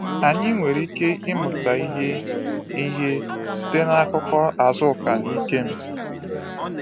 Anyị nwere ike ịmụta ihe ihe site n’akụkọ Azuka na Ikem.